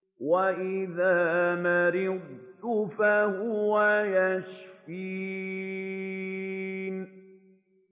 وَإِذَا مَرِضْتُ فَهُوَ يَشْفِينِ